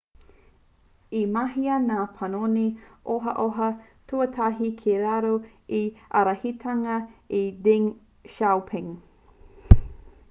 i mahia ngā panoni ohaoha tuatahi ki raro i te ārahitanga o deng xiaoping